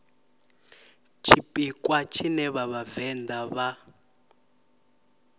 tshipiḓa tshine vha vhavenḓa vha